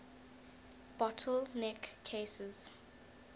bottle neck cases